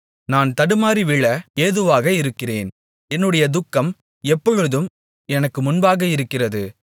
நான் தடுமாறி விழ ஏதுவாக இருக்கிறேன் என்னுடைய துக்கம் எப்பொழுதும் எனக்கு முன்பாக இருக்கிறது